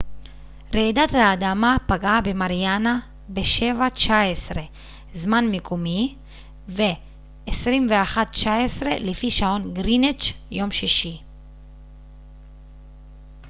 רעידת האדמה פגעה במריאנה ב-07:19 זמן מקומי 21:19 לפי שעון גריניץ' יום שישי